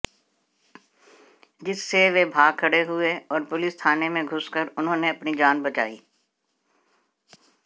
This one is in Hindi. जिससे वे भाग खड़े हुए और पुलिस थाने में घुस कर उन्होंने अपनी जान बचाई